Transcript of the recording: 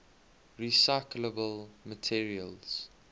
recyclable materials